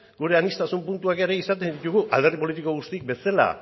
gure aniztasun puntuak ere izaten ditugu alderdi politiko guztiak bezala